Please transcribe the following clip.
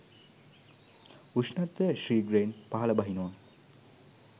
උෂ්ණත්වය ශීඝ්‍රයෙන් පහළ බහිනවා.